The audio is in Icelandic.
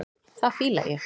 Það fíla ég.